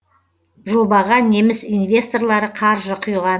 жобаға неміс инвесторлары қаржы құйған